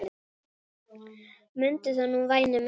Mundu það nú væni minn.